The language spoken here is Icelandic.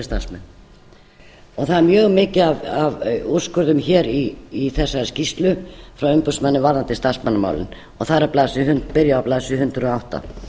starfsmenn og það er mjög mikið af úrskurðum í þessari skýrslu frá umboðsmanni varðandi starfsmannamálin og það byrjar á blaðsíðu hundrað og átta